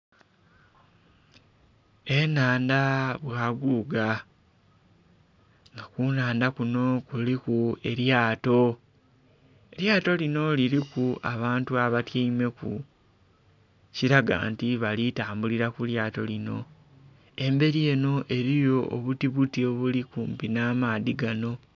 Ennhandha bwaguga nga kunhandha kunho kuliku elyato. Elyato liriku abantu abatyaimeku ekiraga nti abalitambulira kulyato linho emberi enho eriyo obuti buti obuli kumpi nh'amaadhi.